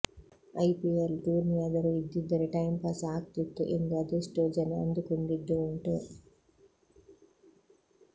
IPL ಟೂರ್ನಿಯಾದರೂ ಇದ್ದಿದ್ದರೆ time pass ಆಗ್ತಿತ್ತು ಎಂದು ಅದೆಷ್ಟೋ ಜನ ಅಂದುಕೊಂಡಿದ್ದು ಉಂಟು